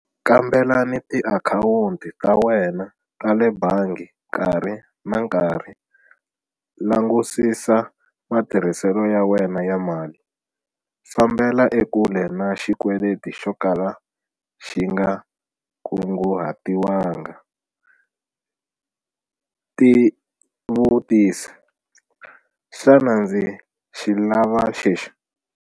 Kambelani tiakhawunti ta wena ta le bangi nkarhi na nkarhi - langutisisa matirhiselo ya wena ya mali. Fambela ekule na xikweleti xo kala xi nga kungu hatiwanga. Tivutisi- Xana ndza xi lava lexi?